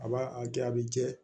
A b'a a kɛ a bɛ jɛ